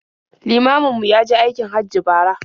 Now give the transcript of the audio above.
Limamin mu ya je aikin Hajji bara.